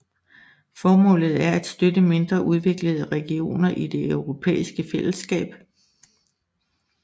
Formålet er at støtte mindre udviklede regioner i det europæiske fællesskab